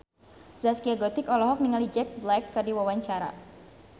Zaskia Gotik olohok ningali Jack Black keur diwawancara